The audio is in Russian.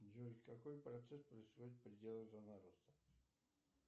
джой какой процесс происходит в пределах зоны роста